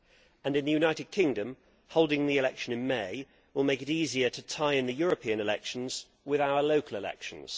In the United Kingdom, holding the election in May will make it easier to tie in the European elections with our local elections.